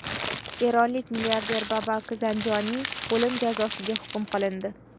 Eronlik milliarder Babak Zanjoniy o‘lim jazosiga hukm qilindi.